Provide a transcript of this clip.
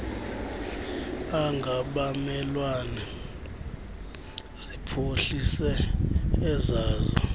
angabamelwane ziphuhlise ezazo